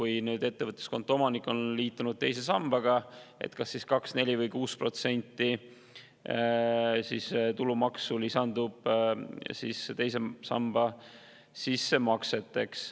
Ja kui ettevõtluskonto omanik on liitunud teise sambaga, siis lisandub kas 2%, 4% või 6% tulumaksu teise samba sissemakseks.